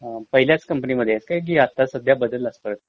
अ..पहिल्याच company मध्ये आहेस कि आता सध्या बदललास परत?